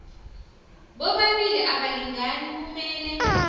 bobabili abalingani kumele